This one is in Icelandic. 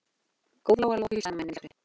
Góða Lóa Lóa, hvíslaði mamma inni í eldhúsi.